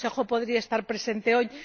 El Consejo podría estar presente hoy.